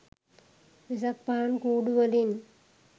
වෙසක් පහන් කූඩු වලින්